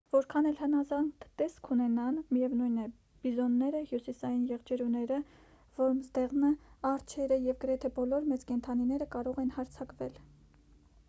որքան էլ հնազանդ տեսք ունենան միևնույն է բիզոնները հյուսիսային եղջերուները որմզդեղնը արջերը և գրեթե բոլոր մեծ կենդանիները կարող են հարձակվել